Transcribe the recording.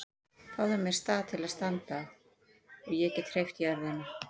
Fáðu mér stað til að standa á og ég get hreyft jörðina!